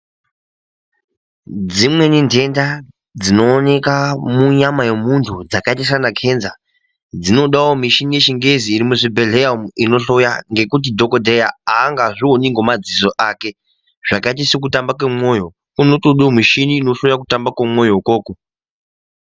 Dzimweni nhenda dzinooneka munyama yemuntu dzakaita saana kenza dzinodawo michini yechingezi iri muzvibhedhlera ngekuti dhokodheya ega haangazvioni ngemadziso ake. Zvakaita sekutamba kwemwoyo, kunotodewo michini inohloye kutamba kwemwoyo ikwokwo.